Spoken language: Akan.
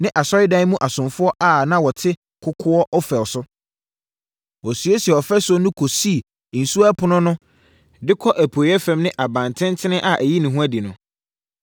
ne asɔredan mu asomfoɔ a na wɔte kokoɔ Ofel so. Wɔsiesiee ɔfasuo no kɔsii Nsuo Ɛpono no de kɔ apueeɛ fam ne abantenten a ɛyi ne ho adi no.